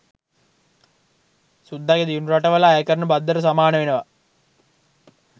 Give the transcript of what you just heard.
සුද්දගෙ දියුණු රටවල අයකරන බද්දට සමාන වෙනවා